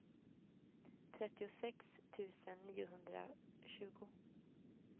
trettiosex tusen niohundratjugo